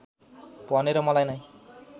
भनेर मलाई नै